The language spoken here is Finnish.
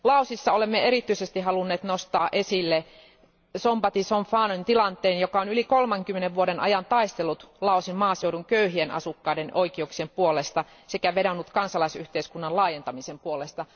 Laosissa olemme erityisesti halunneet nostaa esille Sombath Somphonen tilanteen, joka on yli 30 vuoden ajan taistellut Laosin maaseudun köyhien asukkaiden oikeuksien puolesta sekä vedonnut kansalaisyhteiskunnan laajentamisen puolesta.